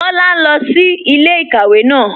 Kọla n lọ sí ilẹ̀-ikàwé náà.